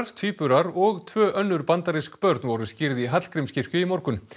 tvíburar og tvö önnur bandarísk börn voru skírð í Hallgrímskirkju í morgun